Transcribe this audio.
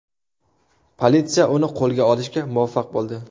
Politsiya uni qo‘lga olishga muvaffaq bo‘ldi.